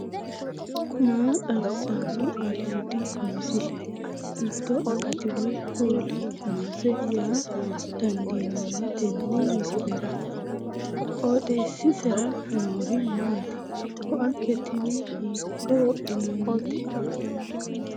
maa xawissanno aliidi misile ? hiitto akati woy kuuli noose yaa dandiinanni tenne misilera? qooxeessisera noori maati ? koate tini hiikko wodhinannite